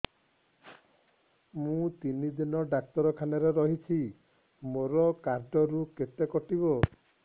ମୁଁ ତିନି ଦିନ ଡାକ୍ତର ଖାନାରେ ରହିଛି ମୋର କାର୍ଡ ରୁ କେତେ କଟିବ